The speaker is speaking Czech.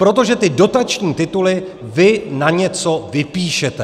Protože ty dotační tituly vy na něco vypíšete.